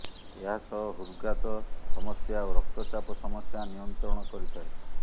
ଏହାସହ ହୃଦଘାତ ସମସ୍ୟା ଓ ରକ୍ତଚାପ ସମସ୍ୟା ନିୟନ୍ତ୍ରଣ କରିଥାଏ